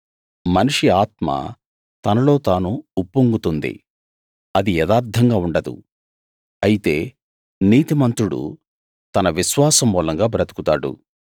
మనిషి ఆత్మ తనలో తాను ఉప్పొంగుతుంది అది యథార్థంగా ఉండదు అయితే నీతిమంతుడు తన విశ్వాసమూలంగా బ్రదుకుతాడు